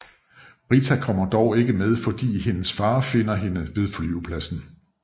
Rita kommer dog ikke med fordi hendes far finder hende ved flyvepladsen